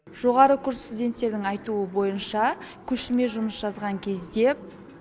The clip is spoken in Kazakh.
жоғары курс студенттерінің айтуы бойынша көшірме жұмыс жазған кезде